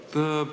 Aitäh!